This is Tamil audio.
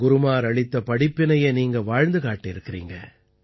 குருமார் அளித்த படிப்பினையை நீங்கள் வாழ்ந்து காட்டியிருக்கிறீர்கள்